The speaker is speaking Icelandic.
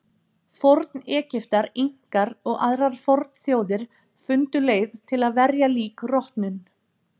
Forn-Egyptar, Inkar og aðrar fornþjóðir fundu leið til að verja lík rotnun.